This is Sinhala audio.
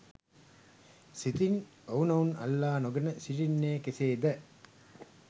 සිතින් ඔවුනොවුන් අල්ලා නොගෙන සිටින්නේ කෙසේද?